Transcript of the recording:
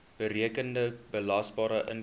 berekende belasbare inkomste